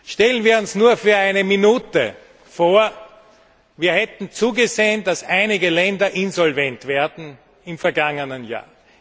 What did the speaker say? Stellen wir uns nur für eine Minute vor, wir hätten zugesehen, dass einige Länder insolvent werden im vergangenen Jahr.